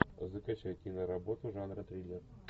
закачай киноработу жанра триллер